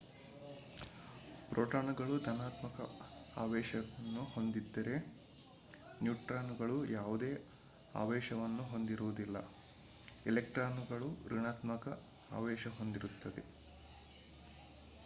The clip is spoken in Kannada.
ಪ್ರೊಟಾನುಗಳು ಧನಾತ್ಮಕ ಆವೇಶವನ್ನು ಹೊಂದಿದ್ದರೆ ನ್ಯೂಟ್ರಾನುಗಳು ಯಾವುದೇ ಆವೇಶವನ್ನು ಹೊಂದಿರುವುದಿಲ್ಲ ಇಲೆಕ್ಟಾನುಗಳು ಋಣಾತ್ಮಕ ಆವೇಶ ಹೊಂದಿರುತ್ತವೆ